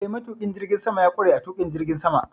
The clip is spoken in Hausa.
Eh, matuƙin jirgin sama ya ƙware a tuƙin jirgin sama.